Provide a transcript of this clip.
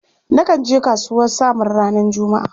Nakan je kasuwar Samaru ranar Juma'a.